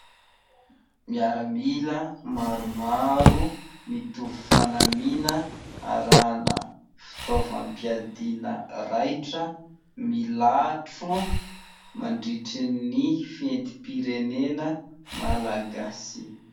Miaramila maromaro mitovy fanamiana arahina fitaovam-piadiana raitra milatro mandritry ny fetim-pirenena malagasy.